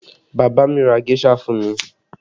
Bàbá mi ra géṣà fún mi